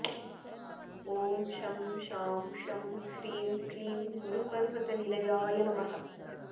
ॐ शं शां षं ह्रीं क्लीं गुरुपर्वतनिलयाय नमः